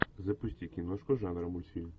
запусти киношку жанра мультфильм